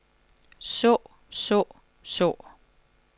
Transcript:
så så så